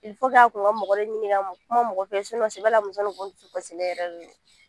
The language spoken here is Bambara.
a kun ka mɔgɔ de ɲininka ka kuma mɔgɔ fɛ sɛbɛla muso nin dusukasilen yɛrɛ de don